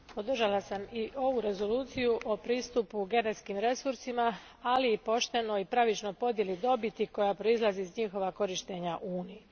Gospođo predsjednice, podržala sam i ovu rezoluciju o pristupu genetskim resursima, ali i poštenoj i pravičnoj podjeli dobiti koja proizlazi iz njihova korištenja u Uniji.